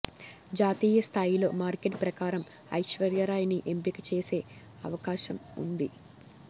జాతీయ స్థాయిలో మార్కెట్ ప్రకారం ఐశ్వర్యారాయ్ ని ఎంపిక చేసే అవకాశం ఉంది